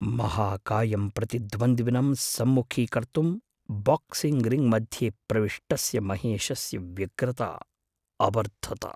महाकायं प्रतिद्वन्द्विनं सम्मुखीकर्तुं boxing ring मध्ये प्रविष्टस्य महेशस्य व्यग्रता अवर्धत।